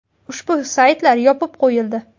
Ushbu saytlar yopib qo‘yildi.